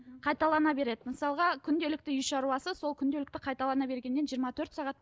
қайталана береді мысалға күнделікті үй шаруасы сол күнделікті қайталана бергеннен жиырма төрт сағат